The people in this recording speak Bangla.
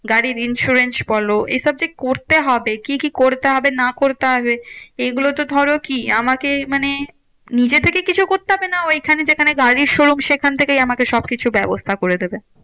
গাড়ির insurance বলো এইসব যে করতে হবে, কি কি করতে হবে না করতে হবে? এগুলোতো ধরো কি? আমাকেই মানে নিজে থেকে কিছু করতে হবে না? ঐখানে যেখানে গাড়ির showroom সেখান থেকেই আমাকে সবকিছু ব্যবস্থা করে দেবে?